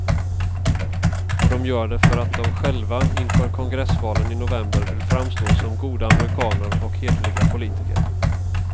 Och de gör det för att de själva inför kongressvalen i november vill framstå som goda amerikaner och hederliga politiker.